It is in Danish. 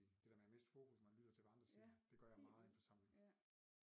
Det med at miste fokus når man lytter til hvad andre siger det gør jeg meget i en forsamling